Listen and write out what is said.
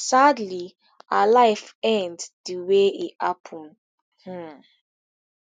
sadly her life end di way e happen um